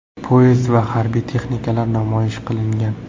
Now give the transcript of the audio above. Poyezd va harbiy texnikalar namoyish qilingan.